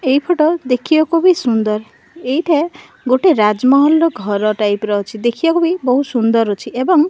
ଏହି ଫଟୋ ଦେଖିବାକୁ ବି ବହୁତ ସୁନ୍ଦର ଏଇଟା ଗୋଟେ ରାଜମହଲ ର ଘର ଟାଇପ ର ଅଛି ଦେଖିବାକୁ ବି ବହୁ ସୁନ୍ଦର୍ ଅଛି ଏବଂ --